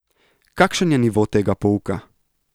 Kakšen je nivo tega pouka?